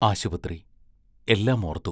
ആശുപത്രി എല്ലാം ഓർത്തു.